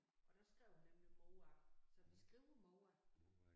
Og der skrev hun nemlig mor så vi skriver mor